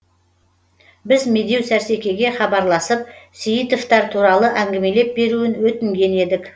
біз медеу сәрсекеге хабарласып сейітовтер туралы әңгімелеп беруін өтінген едік